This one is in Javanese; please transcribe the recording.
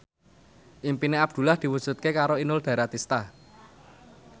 impine Abdullah diwujudke karo Inul Daratista